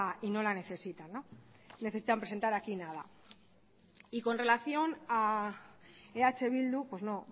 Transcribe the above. y no la necesitan no necesitan presentar aquí nada y con relación a eh bildu pues no